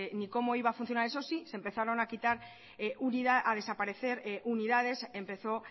ni cómo iba a funcionar eso sí se empezaron a quitar y a desaparecer unidades empezó